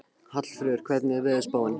Hallfreður, hvernig er veðurspáin?